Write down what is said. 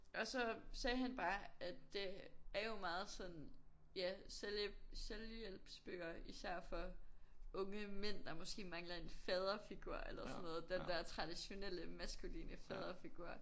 Og så sagde han bare at det er jo meget sådan ja selvhjælp selvhjælpsbøger for især for unge mænd der måske mangler en faderfigur eller sådan noget den der traditionelle maskuline faderfigur